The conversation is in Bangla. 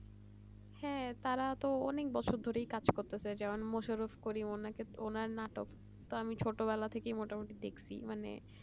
হ্যাঁ তারা তো অনেক বছর ধরে কাজ করতেছে যেমন মোশারফ করিম উনাকে ওনার নাটক আমি ছোটবেলা থেকেই মোটামুটি দেখছি মানে